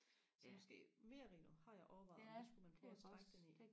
så måske merino har jeg overvejet om det skulle man prøve og strikke den i